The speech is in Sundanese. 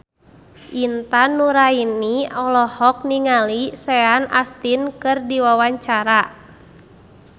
Intan Nuraini olohok ningali Sean Astin keur diwawancara